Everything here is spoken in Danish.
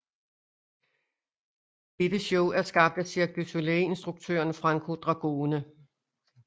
Dette show er skabt af Cirque du Soleil instruktøren Franco Dragone